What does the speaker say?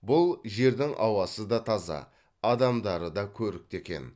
бұл жердің ауасы да таза адамдары да көрікті екен